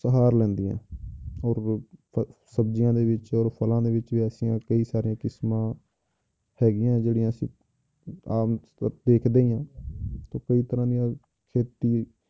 ਸਹਾਰ ਲੈਂਦੀਆਂ ਹੈ ਔਰ ਸਬਜ਼ੀਆਂ ਦੇ ਵਿੱਚ ਔਰ ਫਲਾਂ ਦੇ ਵਿੱਚ ਵੀ ਐਸੀਆਂ ਕਈ ਸਾਰੀਆਂ ਕਿਸਮਾਂ ਹੈਗੀਆਂ ਜਿਹੜੀਆਂ ਅਸੀਂ ਆਮ ਦੇਖਦੇ ਹੀ ਹਾਂ ਤੇ ਕਈ ਤਰ੍ਹਾਂ ਖੇਤੀ